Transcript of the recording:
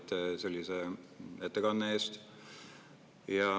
Tänan teid ettekande eest.